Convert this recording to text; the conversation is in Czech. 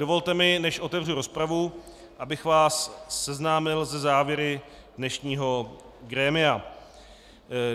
Dovolte mi, než otevřu rozpravu, abych vás seznámil se závěry dnešního grémia.